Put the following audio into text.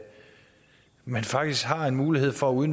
man faktisk har en mulighed for